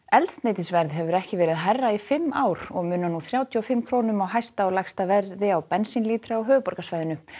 eldsneytisverð hefur ekki verið hærra í fimm ár og munar nú þrjátíu og fimm krónum á hæsta og lægsta verði á bensínlítra á höfuðborgarsvæðinu